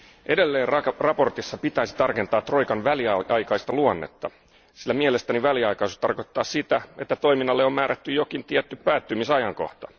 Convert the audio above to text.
Edelleen mietinnössä pitäisi tarkentaa troikan väliaikaista luonnetta, sillä mielestäni väliaikaisuus tarkoittaa sitä, että toiminnalle on määrätty jokin tietty päättymisajankohta.